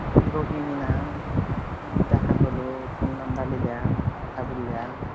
রোহিনী নাম, দেখা হলো phone number লিলাম কথা বুললাম,